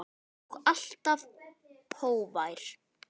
Og alltaf hógvær.